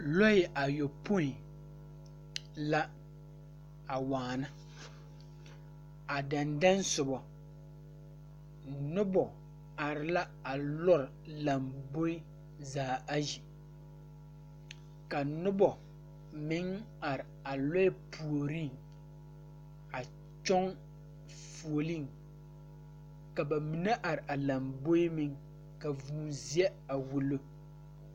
Lɔɛ ayɔpoi la a waana a dɛŋ dɛŋ sobɔ nobɔ are la a lɔre lamboe zaa ayi ka nobɔ meŋ are a lɔre puoriŋ a kyɔŋ fuoleŋ ka ba mine are a lamboeŋ ka vūū zeɛ a wullo.